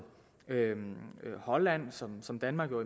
holland som som danmark jo